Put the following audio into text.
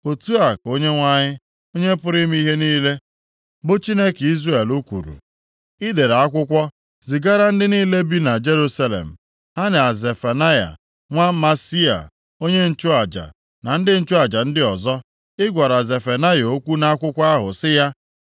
Otu a ka Onyenwe anyị, Onye pụrụ ime ihe niile, bụ Chineke Izrel kwuru, “I dere akwụkwọ zigara ndị niile bi na Jerusalem, ha na Zefanaya nwa Maaseia onye nchụaja, na ndị nchụaja ndị ọzọ. Ị gwara Zefanaya okwu nʼakwụkwọ ahụ sị ya,